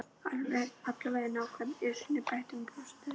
Allavega ekki nálægt Esjunni bætti hún brosandi við.